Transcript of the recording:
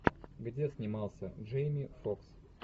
где снимался джейми фокс